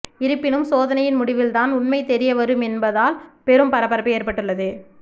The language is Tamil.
இருப்பினும் சோதனையின் முடிவில் தான் உண்மை தெரிய வரும் என்பதால் பெரும் பரபரப்பு ஏற்பட்டுள்ளது